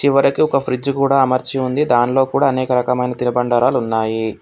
చివరకి ఒక ఫ్రిడ్జ్ కూడా అమర్చి ఉంది దానిలో కూడా అనేక రకమైన తిరబండారాలు ఉన్నాయి.